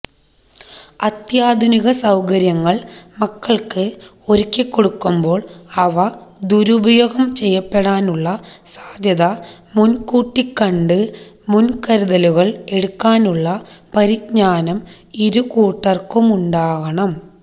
അത്യാധുനിക സൌകര്യങ്ങള് മക്കള്ക്ക് ഒരുക്കികൊടുക്കുമ്പോള് അവ ദുരുപയോഗം ചെയ്യപ്പെടാനുള്ള സാധ്യത മുന്കൂട്ടിക്കണ്ട് മുന്കരുതലുകള് എടുക്കാനുള്ള പരിജ്ഞാനം ഇരു കൂട്ടര്ക്കുമുണ്ടാകണം